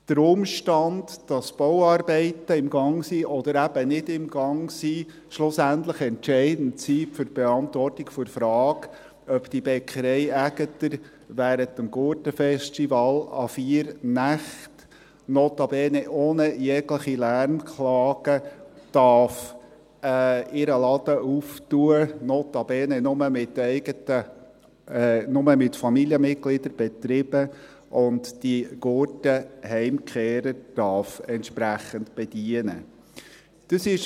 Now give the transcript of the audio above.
Kann der Umstand, dass Bauarbeiten im Gang sind, oder eben nicht im Gang sind, schlussendlich entscheidend sein für die Beantwortung der Frage, ob die Bäckerei Aegerter während des Gurten-Festivals an vier Nächten, notabene ohne jegliche Lärmklagen, ihren Laden öffnen darf, notabene nur mit Familienmitgliedern betrieben, und die Gurten-Heimkehrer entsprechend bedienen darf?